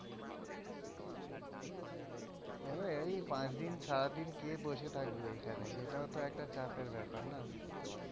দেখবে পাঁচদিন সারাদিন কে বসে থাকবে ঐখানে, সেটাও তো একটা চাপের ব্যাপার না